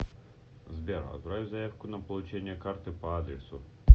сбер отправь заявку на получение карты по адресу